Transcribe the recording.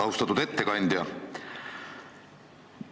Austatud ettekandja!